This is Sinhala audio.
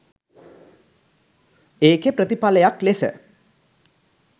ඒකෙ ප්‍රතිඵලයක් ලෙස